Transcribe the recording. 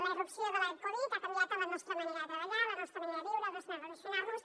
la irrupció de la covid ha canviat la nostra manera de treballar la nostra manera de viure la nostra manera de relacionar nos